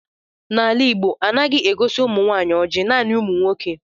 N'ala Igbo, anaghi egosi umunwanyi oji, naani umu nwoke.